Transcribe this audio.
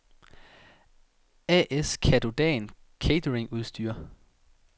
A/S Catodan Cateringudstyr